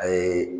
A ye